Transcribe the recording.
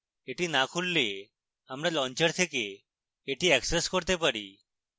এটি না খুললে আমরা launcher থেকে এটি অ্যাক্সেস করতে পারি